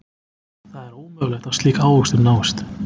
Það er ómögulegt að slík ávöxtun náist.